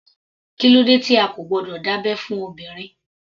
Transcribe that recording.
Kílódé tí a kò gbọdọ̀ dá abẹ́ fún obìnrin.